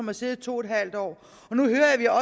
har siddet i to en halv år